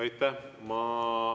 Aitäh!